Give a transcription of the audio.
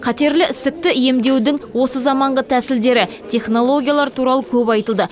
қатерлі ісікті емдеудің осы заманғы тәсілдері технологиялар туралы көп айтылды